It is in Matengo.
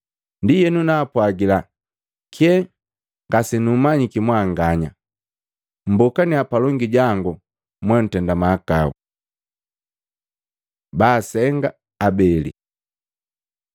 Ndienu naapwagila, ‘Kye ngasenummanyiki mwanganya. Mmbokaniya palongi jangu moutenda mahakau!’ Baasenga abeli Luka 6:47-49